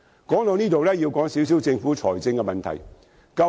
說到這裏，要談談政府的財政問題。